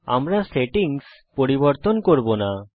আমরা সেটিংস পরিবর্তন করব না